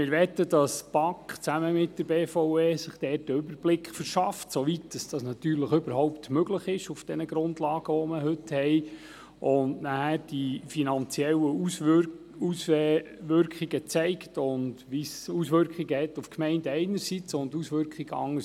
Wir möchten, dass sich die BaK zusammen mit der BVE, soweit das überhaupt mit den heute vorliegenden Grundlagen möglich ist, einen Überblick verschafft und dann die finanziellen Auswirkungen auf die Gemeinden und den Fonds aufzeigt.